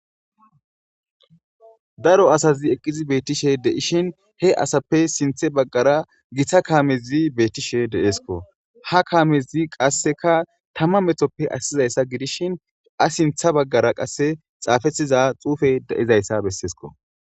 daro asazi eqqizi beettishe deishin he asappe sinthe baggara githa kaamezi beettishe deeesko ha kaamezi qasseka tamma metoppe assizayssa gidishin a sintha baggara qasse xaafetiza xuufe deizayssa besseesko